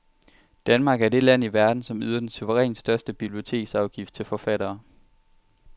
Danmark er det land i verden, som yder den suverænt største biblioteksafgift til forfattere.